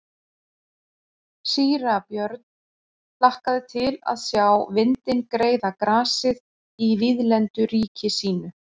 Síra Björn hlakkaði til að sjá vindinn greiða grasið í víðlendu ríki sínu.